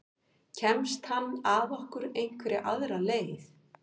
Kemst hann að okkur einhverja aðra leið?